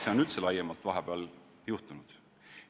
Mis on üldse laiemalt vahepeal juhtunud?